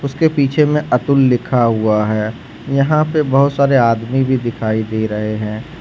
उसके पीछे में अतुल लिखा हुआ है यहां पे बहोत सारे आदमी भी दिखाई दे रहे हैं।